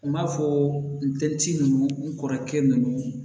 N b'a fɔ n dencɛ ninnu n kɔrɔkɛ ninnu